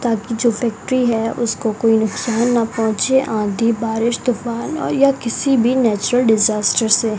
ताकि जो फैक्ट्री है उसको कोई नुकसान न पहुंचे आंधी बारिश तूफान और या किसी भी नेचुरल डिजास्टर से --